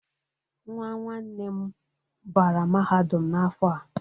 Nwa nwanne nne m bara mahadum n'afọ a.